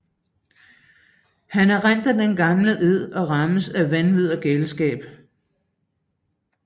Han erindre den gamle ed og rammes af vanvid og galskab